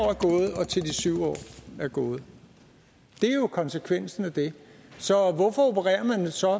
er gået det er jo konsekvensen af det så hvorfor opererer man med så